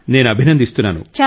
నేను అభినందిస్తున్నాను